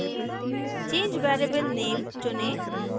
change variable name चुनें